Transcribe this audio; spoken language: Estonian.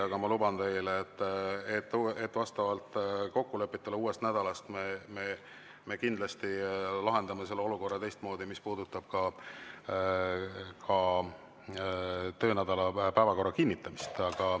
Aga ma luban teile, et vastavalt kokkulepetele lahendame me kindlasti uuest nädalast selle olukorra teistmoodi, mis puudutab ka töönädala päevakorra kinnitamist.